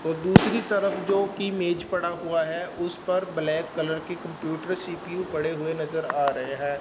व दूसरी तरफ जो की मेज पड़ा हुआ है उस पर ब्लैक कलर के कंप्यूटर सी_पी_यू पड़े हुए नजर आ रहे हैं।